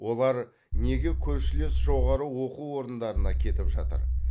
олар неге көршілес жоғары оқу орындарына кетіп жатыр